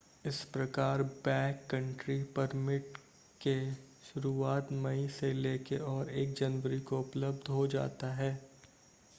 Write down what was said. इस प्रकार backcountry permit के सुरुवात मई से लेके और 1 जनवरी को उपलब्ध हो जाता है